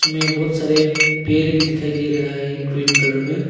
में बहुत सारे पेर भी दिखाई दे रहा है ग्रीन कलर में।